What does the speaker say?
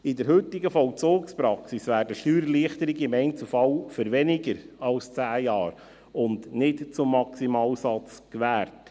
In der heutigen Vollzugspraxis werden Steuererleichterungen im Einzelfall für weniger als 10 Jahre und nicht zum Maximalsatz gewährt.